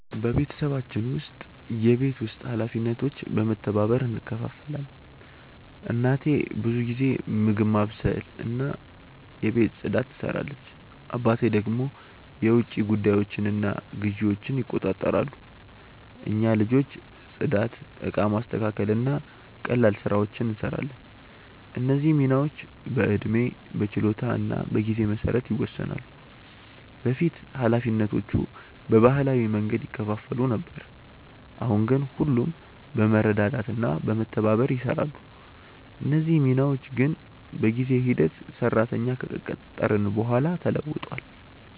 በቤተሰባችን ውስጥ የቤት ውስጥ ኃላፊነቶች በመተባበር እንከፋፈላለን። እናቴ ብዙ ጊዜ ምግብ ማብሰልና የቤት ፅዳት ትሰራለች፣ አባቴ ደግሞ የውጭ ጉዳዮችንና ግዢዎችን ይቆጣጠራሉ። እኛ ልጆች ጽዳት፣ እቃ ማስተካከል እና ቀላል ስራዎችን እንሰራለን። እነዚህ ሚናዎች በዕድሜ፣ በችሎታ እና በጊዜ መሰረት ይወሰናሉ። በፊት ኃላፊነቶቹ በባህላዊ መንገድ ይከፋፈሉ ነበር፣ አሁን ግን ሁሉም በመረዳዳት እና በመተባበር ይሰራሉ። እነዚህ ሚናዎች ግን በጊዜ ሂደት ሰራተኛ ከቀጠርን በኋላ ተለውጧል።